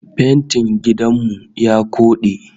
Fentin gidan mu ya koɗe